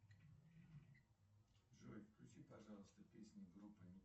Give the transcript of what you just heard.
джой включи пожалуйста песни группы